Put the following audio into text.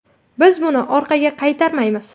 Biz buni orqaga qaytarmaymiz.